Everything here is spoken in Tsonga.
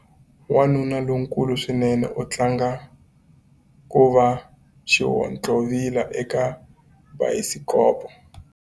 Wanuna lonkulu swinene u tlanga ku va xihontlovila eka bayisikopo.